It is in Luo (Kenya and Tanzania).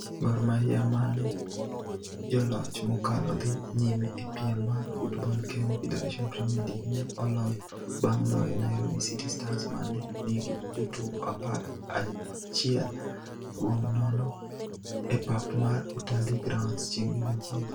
Gor Mahia ma ne joloch mokalo dhi nyime e piem mar Football Kenya Federation Premier League ne oloyo bang' loyo Nairobi City Stars ma ne nigi jotugo apar achiel kuom nono e pap mar Utalii Grounds chieng' Jumapil.